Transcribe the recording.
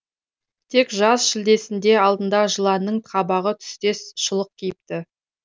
тек жаз шілдесінде алдына жыланның қабығы түстес шұлық киіпті